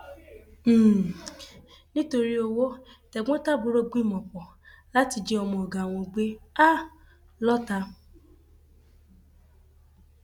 um nítorí owó tẹgbọntàbúrò gbìmọpọ láti jí ọmọ ọgá wọn gbé um lọọta